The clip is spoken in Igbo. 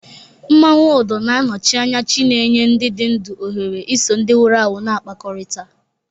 Mmanwu Odo na-anọchi anya chi na-enye ndị dị ndụ ohere iso ndị nwụrụ anwụ na-akpakọrịta